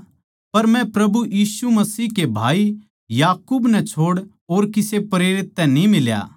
पर मै प्रभु यीशु मसीह के भाई याकूब नै छोड़ और किसे प्रेरित तै न्ही मिल्या